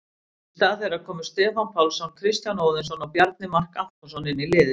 Í stað þeirra koma Stefán Pálsson, Kristján Óðinsson og Bjarni Mark Antonsson inn í liðið.